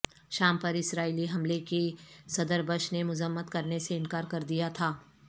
شام پر اسرائیلی حملے کی صدر بش نےمذمت کرنے سے انکار کر دیا تھا